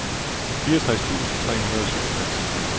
fireogtres tusind tre hundrede og syvogtres